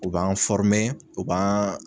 U b'an u b'an